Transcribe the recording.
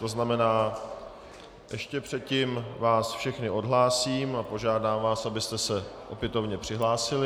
To znamená, ještě předtím vás všechny odhlásím a požádám vás, abyste se opětovně přihlásili.